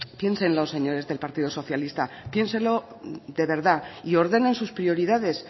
piénsenlo señores del partido socialista piénsenlo de verdad y ordenen sus prioridades